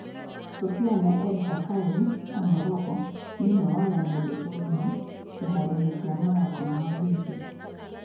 Soufiane El Bakkali wa Morocco nĩ ũmwe wa arĩa mendetwo mũno kĩharo-inĩ kĩa mathako ma Olympics.